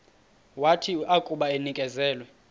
wathi akuba enikezelwe